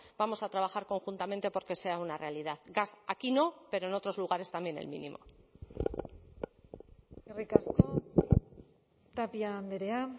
vamos a trabajar conjuntamente porque sea una realidad gas aquí no pero en otros lugares también el mínimo eskerrik asko tapia andrea